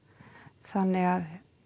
þannig að